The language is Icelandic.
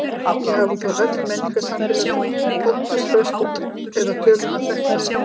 Ekki hafa þó öll menningarsamfélög óttast föstudag eða töluna þrettán.